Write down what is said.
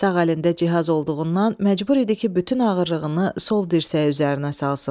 Sağ əlində cihaz olduğundan məcbur idi ki, bütün ağırlığını sol dirsəyi üzərinə salsın.